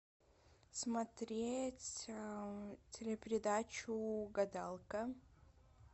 смотреть телепередачу угадалка